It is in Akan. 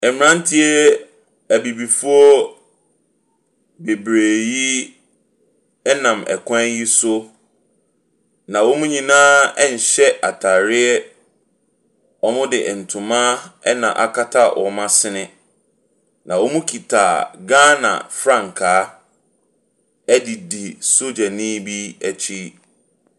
Mmranteɛ Abibifoɔ bebree yi nam kwan yi so. Na wɔ nyinaa nhyɛ ataareɛ. Wɔde ntoma na akata wɔn asene. Na wɔkita Ghana frtankaa dedi sodierni bi akyi.